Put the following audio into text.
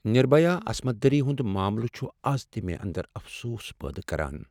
نربھیا عصمت دری ہنٛد معملہٕ چھ از تہ مےٚ اندرافسوٗس پٲدٕ کران۔